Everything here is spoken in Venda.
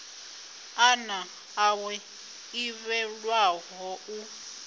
ḓana ḽawe ḽi ḓivhelwaho u